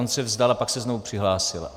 On se vzdal a pak se znovu přihlásil.